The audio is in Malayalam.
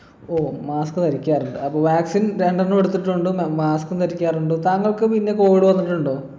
ഓ mask ധരിക്കാറുണ്ട് അപ്പൊ vaccine രണ്ടെണ്ണം എടുത്തിട്ടുണ്ട് മ mask ഉം ധരിക്കാറുണ്ട് താങ്കൾക്ക് പിന്നെ covid വന്നിട്ടുണ്ടോ